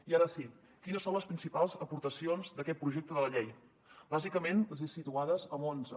i ara sí quines són les principals aportacions d’aquest projecte de la llei bàsicament les he situades en onze